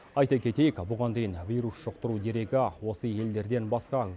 айта кетейік бұған дейін вирус жұқтыру дерегі осы елдерден басқа